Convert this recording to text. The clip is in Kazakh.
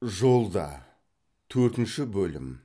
жолда төртінші бөлім